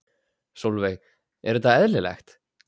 Sólveig: Er þetta eðlilegt?